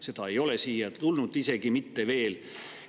See ei ole siia isegi mitte veel tulnud.